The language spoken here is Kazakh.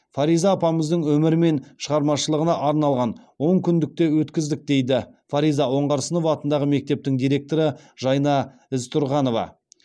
фариза апамыздың өмірі мен шығармашылығына арналған он күндік те өткіздік дейді фариза оңғарсынова атындағы мектептің директоры жайна ізтұрғанова